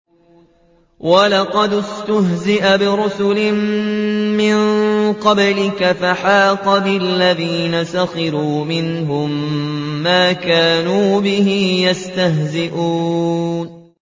وَلَقَدِ اسْتُهْزِئَ بِرُسُلٍ مِّن قَبْلِكَ فَحَاقَ بِالَّذِينَ سَخِرُوا مِنْهُم مَّا كَانُوا بِهِ يَسْتَهْزِئُونَ